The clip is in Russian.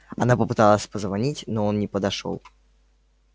она попыталась позвонить но он не подошёл